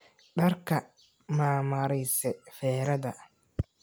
Dharka mamarise ferada?